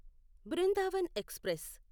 Brindavan express